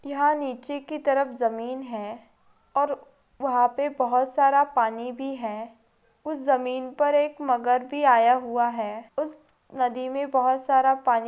यहाँ निचे की तरफ एक ज़मीन है और वहाँ पे बहुत सारा पानी भी है उस ज़मीन पर एक मगर भी आया हुआ है उस नदी में बहोत सारा पानी--